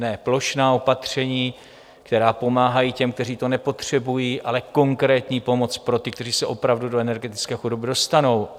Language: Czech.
Ne plošná opatření, která pomáhají těm, kteří to nepotřebují, ale konkrétní pomoc pro ty, kteří se opravdu do energetické chudoby dostanou.